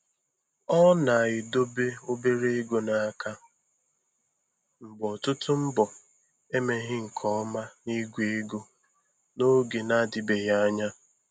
Ọ na-edobe obere ego n'aka mgbe ọtụtụ mbọ emeghị nke ọma na igwe ego n'oge na-adịbeghị anya.